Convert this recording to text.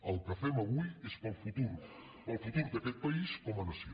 el que fem avui és pel futur pel futur d’aquest país com a nació